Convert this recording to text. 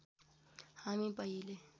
हामी पहिले